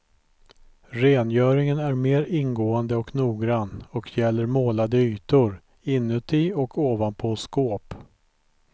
Rengöringen är mer ingående och noggrann, och gäller målade ytor, inuti och ovanpå skåp.